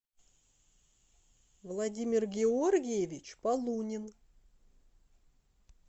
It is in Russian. владимир георгиевич полунин